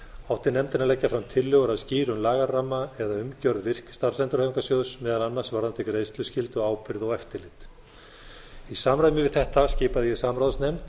átti nefndin að leggja fram tillögur að skýrum lagaramma eða umgjörð virk starfsendurhæfingarsjóðs meðal annars varðandi greiðsluskyldu ábyrgð og eftirlit í samræmi við þetta skipaði ég samráðsnefnd